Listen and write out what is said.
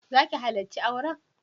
Za ki halarci auren?